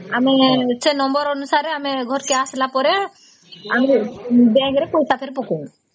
ଆମେ ସେ number ଅନୁସାରେ ଘରକୁ ଆସିଲା ପରେ ଆମକୁ bank ରେ ପଇସା କରି ପକାଉ